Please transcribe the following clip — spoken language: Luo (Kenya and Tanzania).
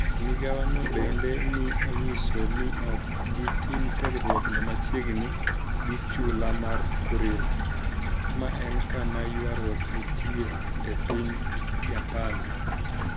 Migawono benide ni e oniyiso nii ok bi tim tiegruokno machiegnii gi chula mar Kuril, ma eni kama ywaruok niitie e piniy Japani.